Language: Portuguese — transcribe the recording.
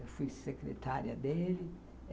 Eu fui secretária dele.